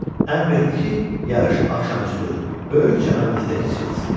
Əmr etdi ki, yarış axşamüstü böyük çəmənlikdə keçirilsin.